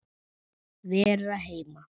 Vera heima.